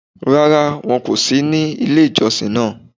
Rárá, wọn kò sí ní ilé ìjọsìn náà